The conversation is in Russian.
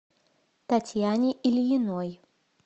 татьяне ильиной